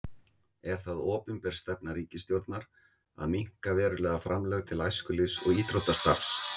Er það opinber stefna ríkisstjórnar að minnka verulega framlög til æskulýðs- og íþróttastarfs?